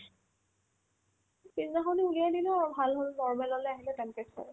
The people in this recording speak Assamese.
সিদিনাখনে উলিয়াই দিলে আৰু ভাল হ'ল normal ল'লে আহিলে temperature